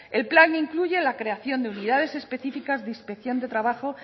el plan incluye la creación de unidades específicas de inspección de trabajo